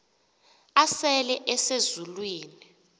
asele ese zulwini